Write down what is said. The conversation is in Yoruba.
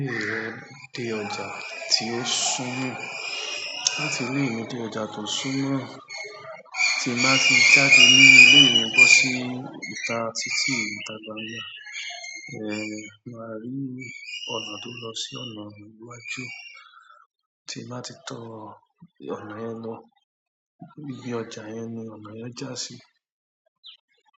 Ilé ìwẹ̀ de ọjà tí ó súnmọ́ láti ilé mi dé ọjà tó súnmọ́ tí n bá fi jáde nínú ilé mi bọ́ sí ìta títí ìta gbangba, màá rí ọ̀nà tó lọ sí ọ̀nà iwájú tí n bá ti tọ ọ̀nà yẹn lọ ibi ọjà yẹn ni ọ̀nà yẹn já sí.